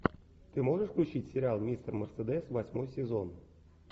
ты можешь включить сериал мистер мерседес восьмой сезон